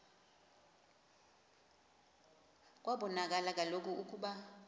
kwabonakala kaloku ukuba